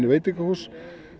veitingahús